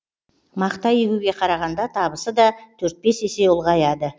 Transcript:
мақта егуге қарағанда табысы да төрт бес есе ұлғаяды